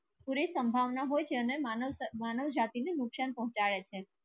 પુરી સંભવના હોય છે માનવ કે માનવ જાતી ને નુક્સાન પૂછે છે